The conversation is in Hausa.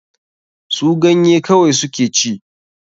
Su ganye kawai su ke ci.